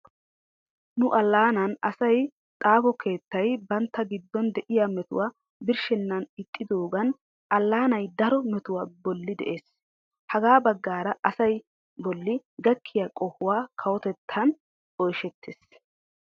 Nu allaanan ayssiya xaafo keettay bantta giddon de'iya metuwa birshshenna ixxidoogan allaanay daro metuwa bolli de'ees. Hagaa baggaara asaa bolli gakkiya qohuwawu kawotettan oyishettees.